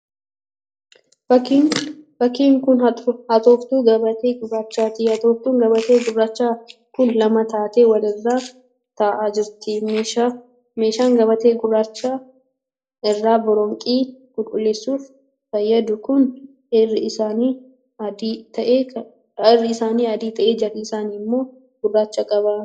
Fakkiin kun hatooftuu gabatee gurraachaati. Hatooftuun gabatee gurraachaa kun lama taatee wal irra ta'aa jirti. Meeshaan gabatee gurraacha irraa boronqii qulqulleessuuf fayyadu kun irra isaan adii ta'ee jala isaan immoo gurraacha qaba.